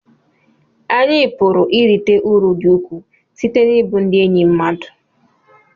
anyị pụrụ irite uru dị ukwuu site n'ịbụ ndị enyi mmadụ